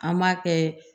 An b'a kɛ